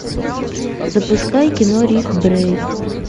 запускай кино риф брейк